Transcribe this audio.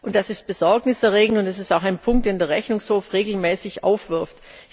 Das ist besorgniserregend, und es ist auch ein Punkt, den der Rechnungshof regelmäßig aufwirft.